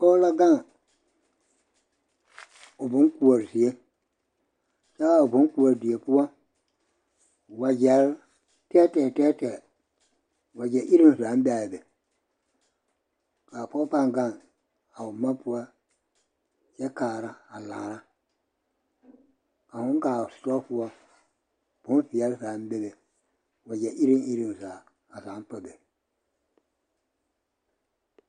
Pɔge la gaŋ o boŋkoɔre zie kyɛ a boŋkoɔre die poɔ wagyɛre tɛɛtɛɛ tɛɛtɛɛ, wagyɛ iruŋ zaaŋ be a be k'a pɔge pãã gaŋ a o boma poɔ kyɛ kaara a laara ka hõõ kaa o sitɔɔ poɔ bonveɛle zaaŋ bebe wagyɛ iruŋ iruŋ zaa, a zaaŋ pa be.